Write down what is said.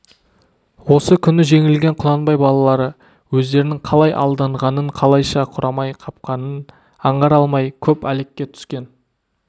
осы күні жеңілген құнанбай балалары өздерінің қалай алданғанын қалайша құрамай қапқанын аңғара алмай көп әлекке түскен